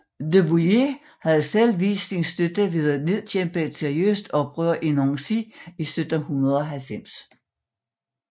De Bouillé havde selv vist sin støtte ved at nedkæmpe et seriøst oprør i Nancy i 1790